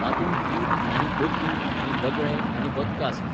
तातूंत गीद आनी बकीं आनी बगळे आनी बदकां आसलीं.